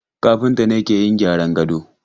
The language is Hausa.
Kafinta ke yin gyran gado.